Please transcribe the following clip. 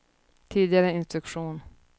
tidigare instruktion